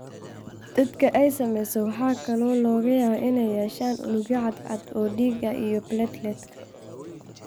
Dadka ay saamaysay waxa kale oo laga yaabaa inay yeeshaan unugyo cad cad oo dhiig ah iyo plateletka.